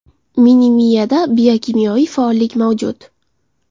Mini-miyada biokimyoviy faollik mavjud.